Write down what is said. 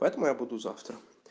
поэтому я буду завтра